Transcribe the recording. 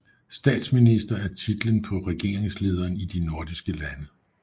Statsminister er titlen på regeringslederen i de nordiske lande